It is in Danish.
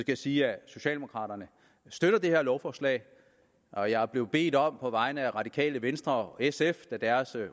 jeg sige at socialdemokraterne støtter det her lovforslag og jeg er blevet bedt om på vegne af det radikale venstre og sf da deres